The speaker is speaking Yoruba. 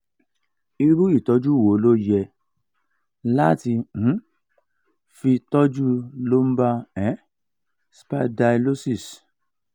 iru itoju wo lo ye lati um fi toju lumbar um spiderlosis?